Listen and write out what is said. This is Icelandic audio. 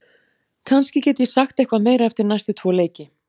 Kannski get ég sagt eitthvað meira eftir næstu tvo leiki.